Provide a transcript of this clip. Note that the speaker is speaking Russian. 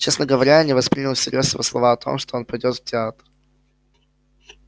честно говоря я не воспринял всерьёз его слова о том что он пойдёт в театр